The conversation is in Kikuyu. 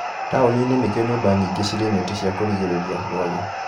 Taũni inĩ nĩkuo nyũmba nyingĩ cirĩ neti cia kũgirĩrĩria rwagĩ